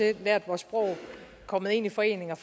har lært vores sprog er kommet ind i foreninger